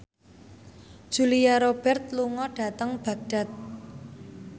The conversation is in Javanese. Julia Robert lunga dhateng Baghdad